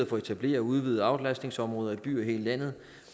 for at etablere og udvide aflastningsområder i byer i hele landet